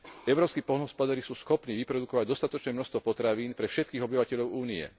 Európski poľnohospodári sú schopní vyprodukovať dostatočné množstvo potravín pre všetkých obyvateľov Únie.